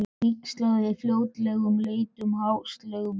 Víxlaði fótleggjunum og leit ástúðlega á vininn.